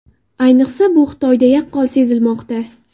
Ayniqsa, bu Xitoyda yaqqol sezilmoqda.